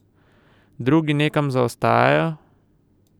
Drugi nekam zaostajajo?